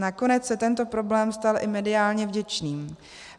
Nakonec se tento problém stal i mediálně vděčným.